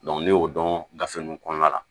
ne y'o dɔn gafe ninnu kɔnɔna la